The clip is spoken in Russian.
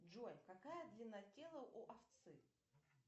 джой какая длина тела у овцы